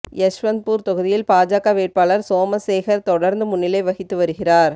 யஷ்வந்த்பூர் தொகுதியில் பாஜக வேட்பாளர் சோமசேகர் தொடர்ந்து முன்னிலை வகித்து வருகிறார்